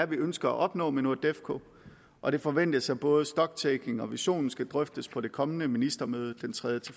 vi ønsker at opnå med nordefco og det forventes at både stock taking og visionen skal drøftes på det kommende ministermøde den tredje